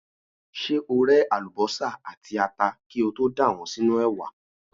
Ṣé o ré àlùbọ́sà àti ata kí o tó dà wọ́n sínú ẹ̀wà?